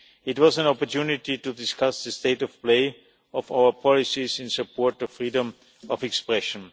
It was an opportunity to discuss the state of play of our policies in support of freedom of expression.